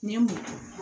N ye mun fɔ